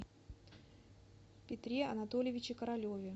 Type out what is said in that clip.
петре анатольевиче королеве